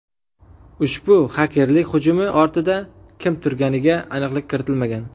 Ushbu xakerlik hujumi ortida kim turganiga aniqlik kiritilmagan.